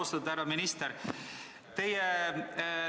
Austatud härra minister!